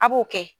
A b'o kɛ